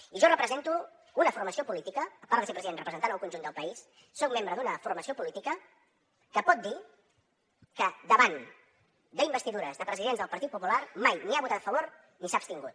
i jo represento una formació política a part de ser president representant el conjunt del país soc membre d’una formació política que pot dir que davant d’investidures de presidents del partit popular mai ni hi ha votat a favor ni s’ha abstingut